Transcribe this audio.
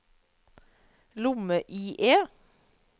lomme-IE